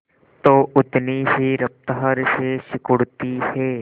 तो उतनी ही रफ्तार से सिकुड़ती है